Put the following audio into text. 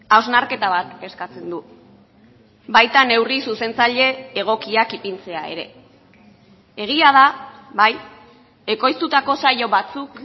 hausnarketa bat eskatzen du baita neurri zuzentzaile egokiak ipintzea ere egia da bai ekoiztutako saio batzuk